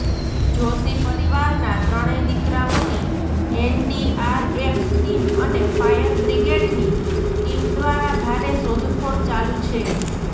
જોષી પરિવારના ત્રણેય દીકરાઓની એનડીઆરએફ ટીમ અને ફાયરબ્રિગેડની ટીમ દ્વારા ભારે શોધખોળ ચાલુ છે